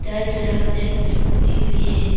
तरफ एक स्कूटी भी है।